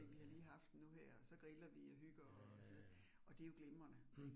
Vi har lige haft den nu her, og så griller vi og hygger og så videre, og det jo glimrende